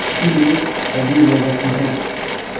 यही नेकबदी रह जाती है